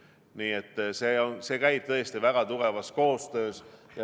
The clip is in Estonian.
Nii et see kõik käib tõesti väga tihedas koostöös.